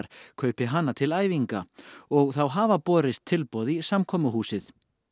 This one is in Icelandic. kaupi hana til æfinga og þá hafa borist tilboð í samkomuhúsið